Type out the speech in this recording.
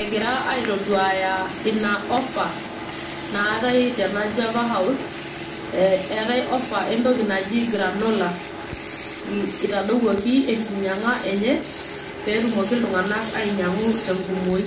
egira aitoduaaya ina offer naatae tena javahouse eetae offer entoki najo granola itadoyioki enkinyianga enye pee etumoki iltungana ainyiamgu tenkumoki.